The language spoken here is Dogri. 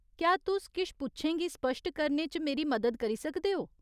क्या तुस किश पुच्छें गी स्पश्ट करने च मेरी मदद करी सकदे ओ ?